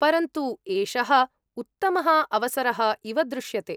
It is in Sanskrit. परन्तु एषः उत्तमः अवसरः इव दृश्यते।